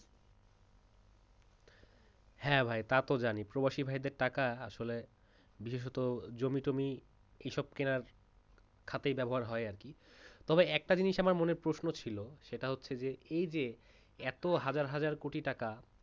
হ্যাঁ ভাই তাতো জানি প্রবাসী ভাইদের টাকা আসলে বিশেষত জমি টমি এসব কেনার খাতে ব্যবহার হয় আর কি তবে একটা জিনিস আমার মনে প্রশ্ন ছিল সেটা হচ্ছে যে এই যে এত হাজার হাজার কোটি টাকা